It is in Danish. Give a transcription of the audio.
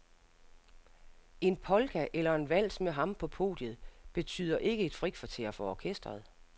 En polka eller en vals med ham på podiet betyder ikke et frikvarter for orkestret.